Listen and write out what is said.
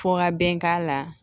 Fo ka bɛn k'a la